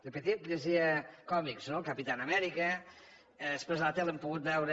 de petit llegia còmics no el capitán america després a la tele hem pogut veure